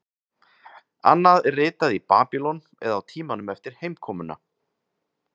Annað er ritað í Babýlon eða á tímanum eftir heimkomuna.